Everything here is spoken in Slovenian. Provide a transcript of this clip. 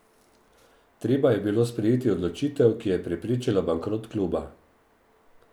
Treba je bilo sprejeti odločitev, ki je preprečila bankrot kluba.